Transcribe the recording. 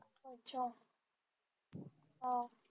हा अच्छा